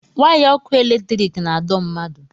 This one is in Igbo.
waya ọkụ eletiriki na-adọ mmadụ